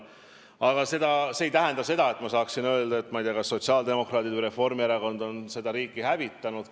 Aga see ei tähenda, et minu arvates sotsiaaldemokraadid või Reformierakond on seda riiki hävitanud.